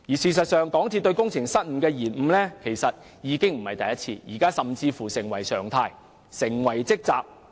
事實上，港鐵公司並非第一次隱瞞工程失誤，這甚至已成為常態，成為其"職責"。